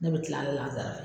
Ne bɛ tila lanzara